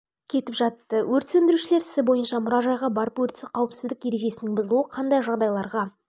кетіп жатты өрт сөндірушілер ісі бойынша мұражайға барып өрт қауіпсіздік ережесінің бұзылуы қандай жағдайларға